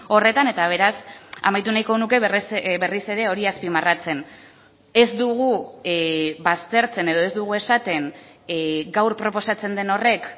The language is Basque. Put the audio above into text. horretan eta beraz amaitu nahiko nuke berriz ere hori azpimarratzen ez dugu baztertzen edo ez dugu esaten gaur proposatzen den horrek